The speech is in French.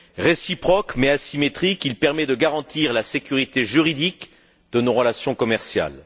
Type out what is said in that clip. Réciproque, mais asymétrique, il permet de garantir la sécurité juridique de nos relations commerciales.